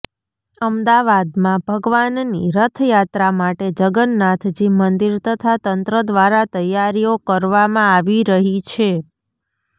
અમદાવાદમાં ભગવાનની રથયાત્રા માટે જગન્નાથજી મંદિર તથા તંત્ર દ્વારા તૈયારીઓ કરવામાં આવી રહી છે